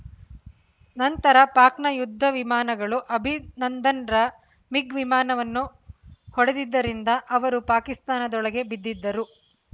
ನಂತರ ಪಾಕ್‌ನ ಯುದ್ಧ ವಿಮಾನಗಳು ಅಭಿನಂದನ್‌ರ ಮಿಗ್‌ ವಿಮಾನವನ್ನು ಹೊಡೆದಿದ್ದರಿಂದ ಅವರು ಪಾಕಿಸ್ತಾನದೊಳಗೆ ಬಿದ್ದಿದ್ದರು